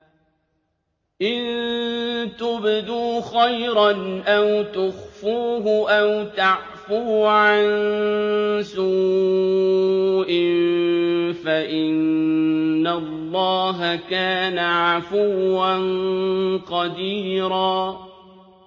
إِن تُبْدُوا خَيْرًا أَوْ تُخْفُوهُ أَوْ تَعْفُوا عَن سُوءٍ فَإِنَّ اللَّهَ كَانَ عَفُوًّا قَدِيرًا